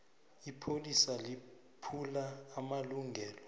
ipholisa liphula amalungelo